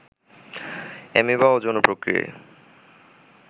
amoeba অযৌন প্রক্রিয়ায়